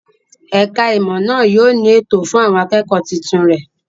Ẹ̀ka-ìmọ̀ náà yóò ní ètò fún àwọn akẹ́kọ̀ọ́ tuntun rẹ̀.